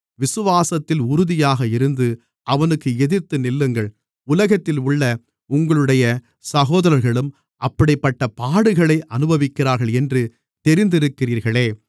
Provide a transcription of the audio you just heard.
விசுவாசத்தில் உறுதியாக இருந்து அவனுக்கு எதிர்த்து நில்லுங்கள் உலகத்தில் உள்ள உங்களுடைய சகோதரர்களும் அப்படிப்பட்டப் பாடுகளை அனுபவிக்கிறார்கள் என்று தெரிந்திருக்கிறீர்களே